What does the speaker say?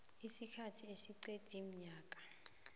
isikhathi esingeqi umnyaka